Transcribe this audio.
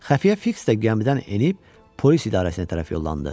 Xəfiyyə Fiks də gəmidən enib polis idarəsinə tərəf yollandı.